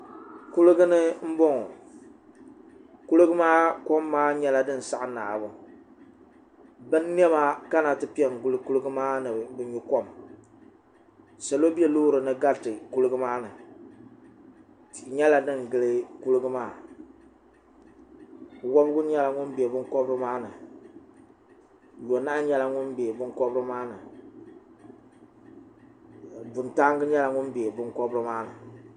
kuligi ni n boŋo kuligi maa kom maa nyɛla din saɣa naabu bin niɛma kana ti piɛ n gili kuligi maa ni bi nyu kom salo bɛ loori ni gariti kuligi maa ni tihi nyɛla din gili kuligi wobigi nyɛla ŋun bɛ binkobiri maa ni yonahu nyɛla ŋun bɛ binkobiri maa ni buntaangi nyɛla ŋun bɛ binkobiri maa ni